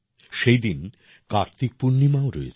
সেই দিন কার্তিক পূর্ণিমাও রয়েছে